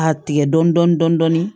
A tigɛ dɔɔnin dɔɔnin